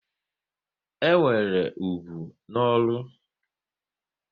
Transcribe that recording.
E nwere ugwu na ọrụ